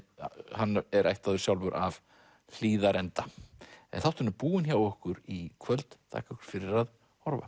hann er ættaður sjálfur af Hlíðarenda en þátturinn er búinn hjá okkur í kvöld þakka ykkur fyrir að horfa